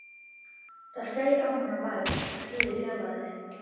Það seig á hana værð og stríðið fjarlægðist.